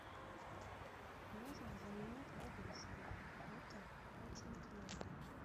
нужно заменить подушку эта очень твердая